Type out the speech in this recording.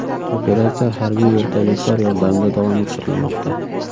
Operatsiya harbiy vertolyotlar yordamida davom ettirilmoqda.